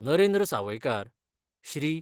Narendra Sawaikar, Shri.